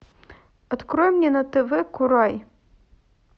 открой мне на тв курай